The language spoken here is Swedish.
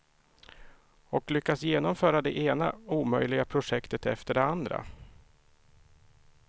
Och lyckas genomföra det ena omöjliga projektet efter det andra.